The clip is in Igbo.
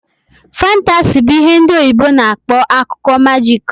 Fantasi bụ ihe ndị oyibo na akpọ akụkọ majik